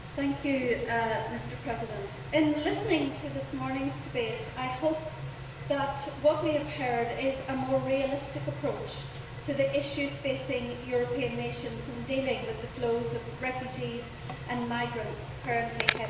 Mr President, in listening to this morning's debate I hope that what we have heard is a more realistic approach to the issues facing European nations in dealing with the flows of refugees and migrants currently heading towards Europe.